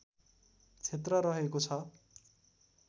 क्षेत्र रहेको छ